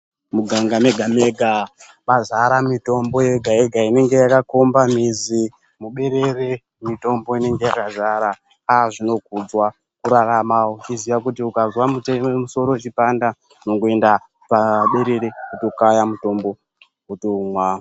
Muganga mega-mega mazara mitombo yega-yega inenge yakakomba mizi. Muberere mitombo inonga yakazara zvinokudzwa kurarama uchiziva kuti ukazwa musoro uchipanda, unongoenda paberere votokaya mutombo wotomwa.